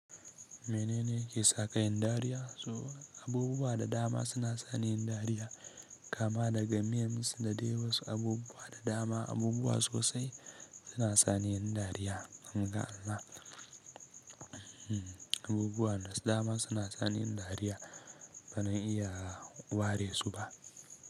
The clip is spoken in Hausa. Menene yake saka yin dariya? Abubuwa da dama suna sa ni yin dariya, kama daga memes da dai wasu abubuwa da dama. Abubuwa sosai suna sa ni yin dariya. An ga Allah. Abubuwa da dama suna sani yin dariya ba zan iya ware su ba.